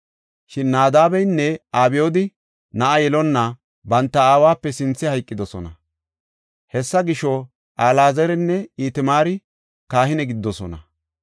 Shin Naadabeynne Abyooda na7a yelonna banta aawape sinthe hayqidosona. Hessa gisho, Alaazarinne Itamaari kahine gididosona.